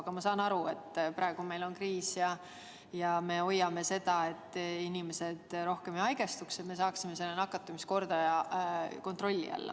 Aga ma saan aru, et praegu on kriis ja me katsume ära hoida, et inimesed rohkem ei haigestuks, et me saaksime nakatumiskordaja kontrolli alla.